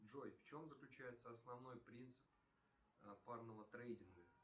джой в чем заключается основной принцип парного трейдинга